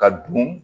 Ka dun